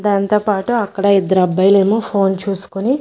దాంతోపాటు అక్కడ ఇద్దరు అబ్బాయిలేమో ఫోన్ చూసుకుని--